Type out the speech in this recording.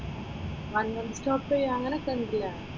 One month stop ചെയാം അങ്ങനെയൊക്കെ ഉണ്ട് ഇല്ലേ?